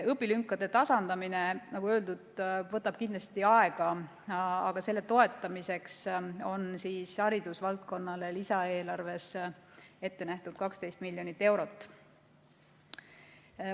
Õpilünkade tasandamine, nagu öeldud, võtab kindlasti aega, aga selle toetamiseks on haridusvaldkonnale lisaeelarves ette nähtud 12 miljonit eurot.